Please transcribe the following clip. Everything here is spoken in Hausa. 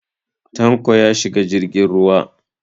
Tanko ya shiga jirgin ruwa.